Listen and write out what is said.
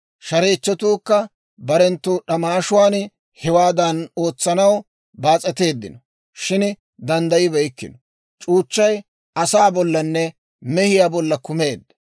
Shareechchatuukka barenttu d'amaashuwaan hewaadan ootsanaw baas'eteeddino; shin danddayibeykkino. C'uuchchay asaa bollanne, mehiyaa bolla kummeedda.